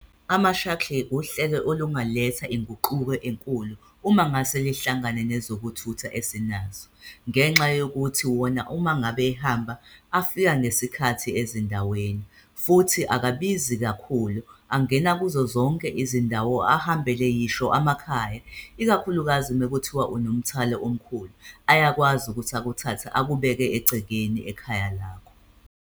Ama-shuttle uhlelo olungaletha inguquko enkulu uma ngase lihlangane nezokuthutha esinaso ngenxa yokuthi wona uma ngabe ehamba, afika ngesikhathi ezindaweni futhi akabizi kakhulu. Angena kuzo zonke izindawo ahambele yisho amakhaya, ikakhulukazi mekuthiwa unomthwalo omkhulu, ayakwazi ukuthi akuthathe akubeke egcekeni ekhaya lakho.